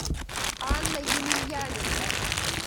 анна емельяненко